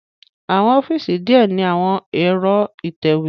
Awọn ọfiisi diẹ ni awọn ẹ̀ro itẹwe